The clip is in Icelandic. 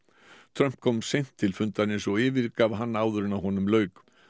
Trump kom seint til fundarins og yfirgaf hann áður en honum lauk